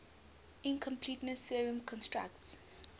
incompleteness theorem constructs